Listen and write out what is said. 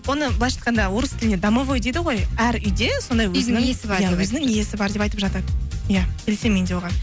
оны былайынша айтқанда орыс тілінде домовой дейді ғой әр үйде сондай иә өзінің иесі бар деп айтып жатады иә келісемін мен де оған